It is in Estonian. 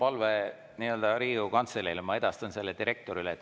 Mul on palve Riigikogu Kantseleile ja ma edastan selle direktorile.